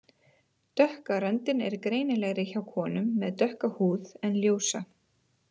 Dökka röndin er greinilegri hjá konum með dökka húð en ljósa.